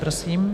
Prosím.